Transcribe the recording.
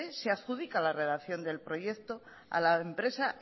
se adjudica la redacción del proyecto a la empresa